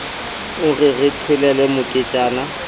o re re qhelele moketjana